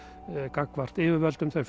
gagnvart yfirvöldum þau